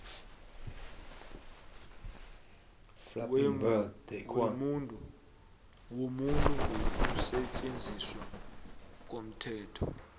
wobuntu ngokusetjenziswa komthetho